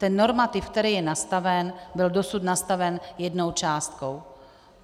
Ten normativ, který je nastaven, byl dosud nastaven jednou částkou.